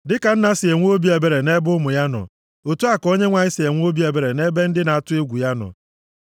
Dịka nna si enwe obi ebere nʼebe ụmụ ya nọ, otu a ka Onyenwe anyị si enwe obi ebere nʼebe ndị na-atụ egwu ya nọ,